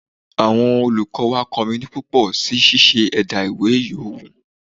Àwọn olùkọ́ wà kọminu púpọ̀ sí ṣíṣe ẹ̀dá ìwé yòówù